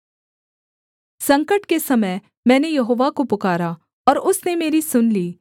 संकट के समय मैंने यहोवा को पुकारा और उसने मेरी सुन ली